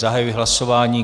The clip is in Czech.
Zahajuji hlasování.